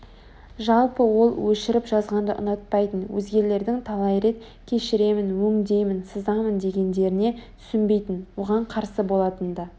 жалпы ол өшіріп жазғанды ұнатпайтын Өзгелердің талай рет кешіремін өңдеймін сызамын дегендеріне түсінбейтін оған қарсы болатын да